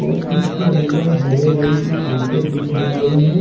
और इसके अंदर हरे रंग की कारपेट बिछाई गई है।